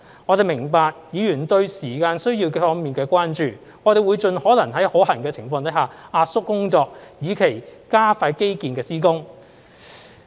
我們明白議員對時間需要方面的關注，我們會盡可能在可行的情況下壓縮工作，以期加快基建施工。